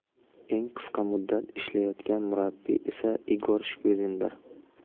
Eng qisqa muddat ishlayotgan murabbiy esa Igor Shkvirindir.